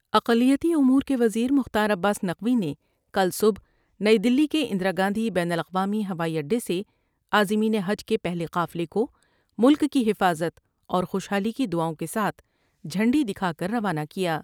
اقلیتی امور کے وزیر مختار عباس نقوی نے کل صبح نئی دلی کے اندرا گاندھی بین الاقوامی ہوائی اڈے سے عازمین حج کے پہلے قافلے کو ملک کی حفاظت اور خوشحالی کی دعاؤں کے ساتھ جھنڈی دکھا کر روانہ کیا ۔